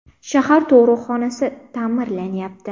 Shahar tug‘uruqxonasi ta’mirlanyapti.